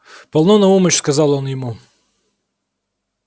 полно наумыч сказал он ему